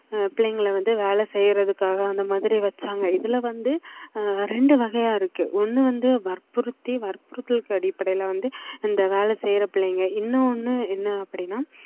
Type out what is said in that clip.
ஆஹ் பிள்ளைங்களை வந்து வேலை செய்யறதுக்காக அந்த மாதிரி வச்சாங்க இதுல வந்து ஆஹ் ரெண்டு வகையா இருக்கு ஒண்ணு வந்து வற்புறுத்தி வற்புறுத்தலுக்கு அடிப்படையில வந்து இந்த வேலை செய்யற பிள்ளைங்க இன்னும் ஒண்ணு என்ன அப்படின்னா